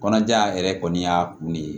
Kɔnɔja in yɛrɛ kɔni y'a kun ne ye